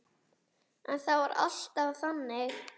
En það var alltaf þannig.